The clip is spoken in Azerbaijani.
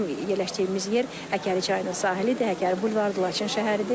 Bizim yerləşdiyimiz yer Həkəri çayının sahilidir, Həkəri bulvarıdır, Laçın şəhəridir.